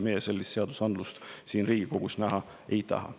Meie sellist seadusandlust siin Riigikogus näha ei taha.